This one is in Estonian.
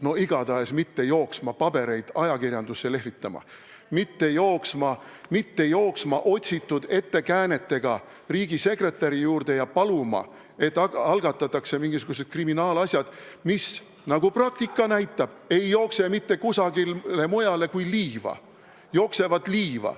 No igatahes mitte jooksma pabereid ajakirjandusse lehvitama, mitte jooksma otsitud ettekäänetega riigisekretäri juurde paluma, et algatataks mingisugused kriminaalasjad, mis, nagu praktika näitab, ei jookse mitte kusagile mujale kui liiva.